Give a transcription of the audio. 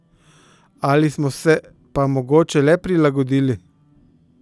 Ali smo se pa mogoče le prilagodili?